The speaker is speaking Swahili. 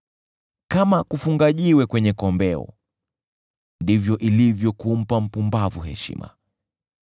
Kama kufunga jiwe kwenye kombeo, ndivyo ilivyo kumpa mpumbavu heshima.